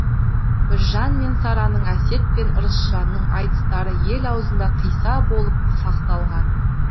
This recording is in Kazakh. біржан мен сараның әсет пен ырысжанның айтыстары ел аузында қисса болып сақталған